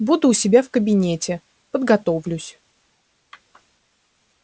буду у себя в кабинете подготовлюсь